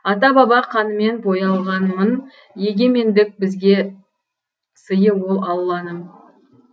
ата баба қанымен боялғанмын егемендік бізге сыйы ол алланың